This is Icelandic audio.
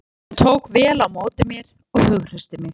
Hann tók vel á móti mér og hughreysti mig.